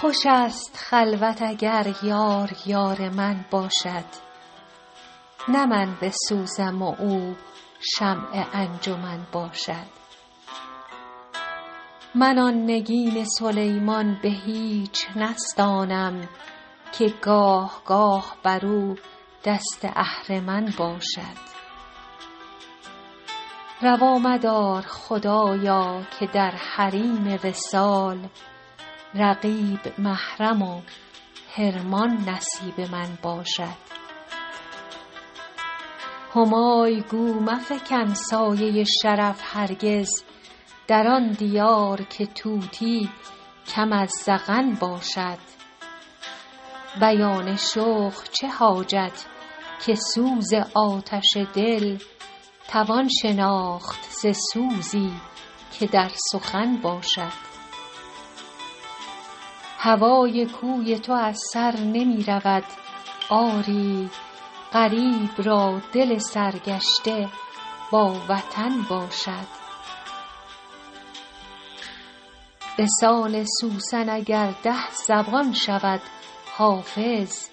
خوش است خلوت اگر یار یار من باشد نه من بسوزم و او شمع انجمن باشد من آن نگین سلیمان به هیچ نستانم که گاه گاه بر او دست اهرمن باشد روا مدار خدایا که در حریم وصال رقیب محرم و حرمان نصیب من باشد همای گو مفکن سایه شرف هرگز در آن دیار که طوطی کم از زغن باشد بیان شوق چه حاجت که سوز آتش دل توان شناخت ز سوزی که در سخن باشد هوای کوی تو از سر نمی رود آری غریب را دل سرگشته با وطن باشد به سان سوسن اگر ده زبان شود حافظ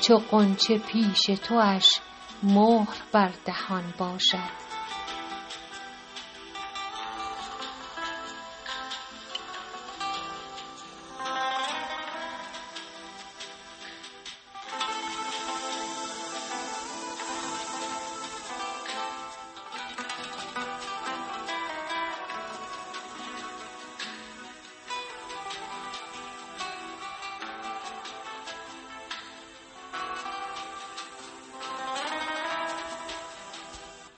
چو غنچه پیش تواش مهر بر دهن باشد